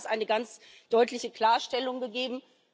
Auch da hat es eine ganz deutliche Klarstellung gegeben.